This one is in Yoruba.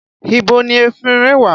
Ibo ni efinrin wà?